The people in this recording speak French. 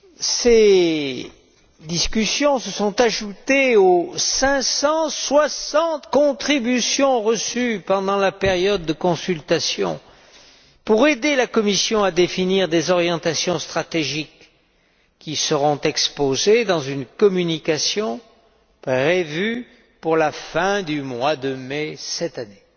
Ces discussions se sont ajoutées aux 560 contributions reçues pendant la période de consultation pour aider la Commission à définir des orientations stratégiques qui seront exposées dans une communication prévue pour la fin du mois de mai de cette année.